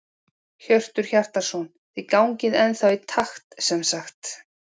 Hjörtur Hjartarson: Þið gangið ennþá í takt sem sagt?